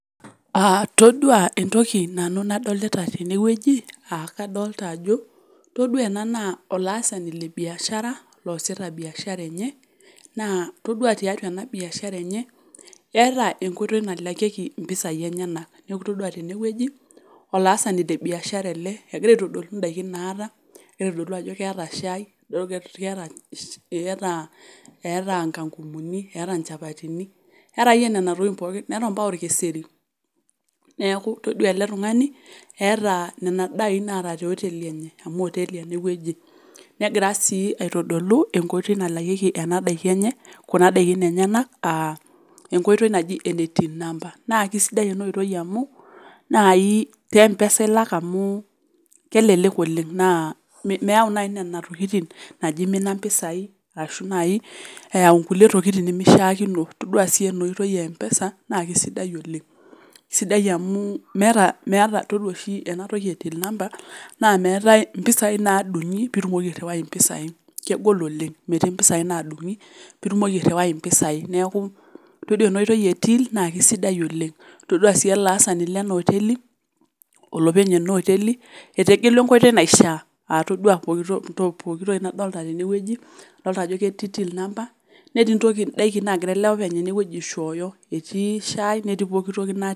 Todua entoki nadolita nanu ttene wueji, aa kadolita ajo todua ena naa olaasani le biashara, loasita biashara enye naa itodua tiatua ena biashara enye, eata inkoitoi nalakieki impisai enyena, amu itodua tenewuueji olaasani le biashara ele egira aitodolu indaikin naata. Neitodolu ajo keata shaai, eata inkang'umuni, eata inchapatini, eata ake iyie nena tokitin pookin, eata ompaka olkeseri. Neaku itodua ele tung'ani, eata nena daikin naanya te oteli enye amu oteli ene wueji. Negira sii aitodolu enkoitoi nalakieki kuna daiki enyena, aa enkoitoi naji ene Till number, naa ekeisidai ena oitoi amu naaji te emoesa ilak amu kelelek noleng' naa meyau naaji nena tokitin naaji eimina impisai, ashu naaji eyau inkulie tokitin nemeishaakino, todua sii ena oitoi e empesa naake sidai oleng'. Sidai amu meata idol oshi ena toki ecs] till number, naa meatai impisai naadung'i piitilaki airiwai impisai, kegol oleng' metii impisai naadung'i pee itumoki airiwai impisai neaku itodua ena oitoi e till naake sidai oleng', itadua sii ele aasanio lena oteli, olopeny ena oteli etegelua enkoitoi naishaa, aa itodua pooki toki nadolita tene wueji, adolita ajo ketii till number netii indaikin naagira ele openy aishooyo, etii shaai netii pooki toki natii.